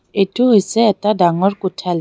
এইটো হৈছে এটা ডাঙৰ কোঠাল--